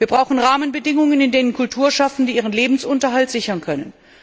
Wir brauchen Rahmenbedingungen, unter denen Kulturschaffende ihren Lebensunterhalt sichern können.